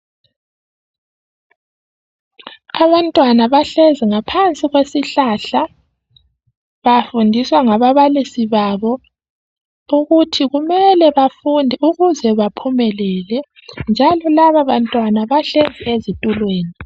Abantwana bahlezi ngaphansi kwesihlahla bafundiswa ngababalisi abo okuthi kumele bafunde ukuze baphumelele njalo laba bantwana bahlezi ezithulweni